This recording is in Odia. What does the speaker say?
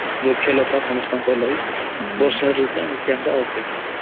ବୃକ୍ଷଲତା ସମସ୍ତଂକ ଲାଗି ବର୍ଷା ରୁତୁ ନିତାନ୍ତ ଆବସ୍ୟକ